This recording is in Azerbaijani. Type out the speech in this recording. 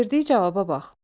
Verdiyi cavaba bax.